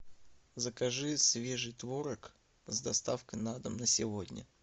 закажи свежий творог с доставкой на дом на сегодня